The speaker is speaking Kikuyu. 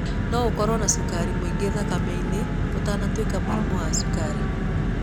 No ũkorwo na cukari mũingĩ thakame-inĩ ũtanatuĩka mũrimũ wa cukari.